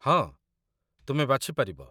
ହଁ, ତୁମେ ବାଛି ପାରିବ